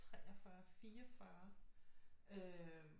43 44 øh